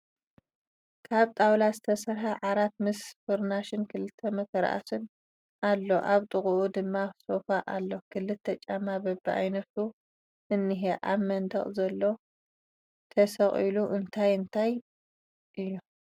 ካብ ጣውላ ዝተሰርሐ ዓራት ምስ ፍራሹን ክልተ መተርኣሱን ኣሎ ኣብ ጥቅኡ ድማ ሶፋ ኣሎ ክልተ ጫማ በብዓይነቱ እንሄ ፣ ኣብ መንደቅ ዘሎ ቴሰቂሉ እንታይ እንታይ እዩ ?